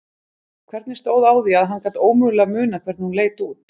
Hvernig stóð á því að hann gat ómögulega munað hvernig hún leit út?